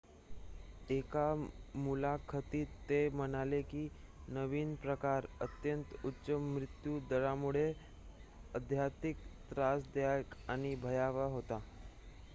"एका मुलाखतीत ते म्हणाले की नवीन प्रकार "अत्यंत उच्च मृत्यू दरामुळे अत्याधिक त्रासदायक आणि भयावह" होता.